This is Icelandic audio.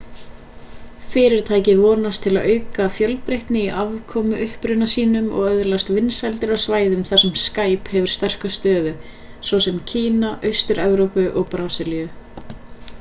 fyrirtækið vonast til að auka fjölbreytni í afkomuuppruna sínum og öðlast vinsældir á svæðum þar sem skype hefur sterka stöðu svo sem kína austur-evrópu og brasilíu